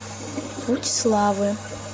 путь славы